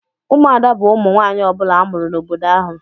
Ụmụada bu ụmụ nwanyị ọbula amụrụ n'obodo ahụ.